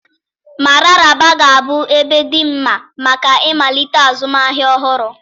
Mararaba ga-abụ ebe dị mma maka ịmalite azụmahịa ọhụrụ.